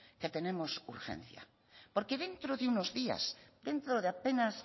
que tenemos urgencia porque dentro de unos días dentro de apenas